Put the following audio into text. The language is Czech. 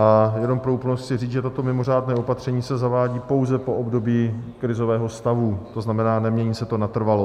A jenom pro úplnost chci říct, že toto mimořádné opatření se zavádí pouze po období krizového stavu, to znamená, nemění se to natrvalo.